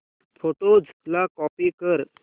photos ला copy कर